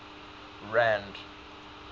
rand